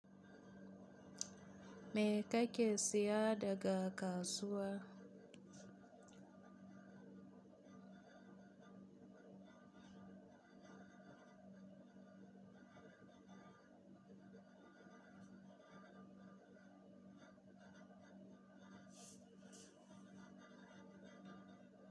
Me kake siya daga kasuwa?